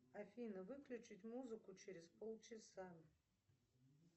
афина выключить музыку через полчаса